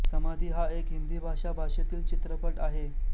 समाधि हा एक हिंदी भाषा भाषेतील चित्रपट आहे